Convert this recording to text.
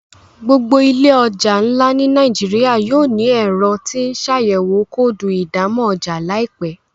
gbogbo ile ọja nlá ní Nàìjíríà yóò ní Ẹ̀rọ tí ńṣàyẹ̀wò kóòdù ìdámọ̀ ọjà láìpé.